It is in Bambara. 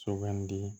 Sugandi